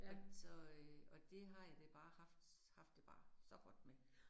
At så øh, og det har jeg det bare haft haft det bare så godt med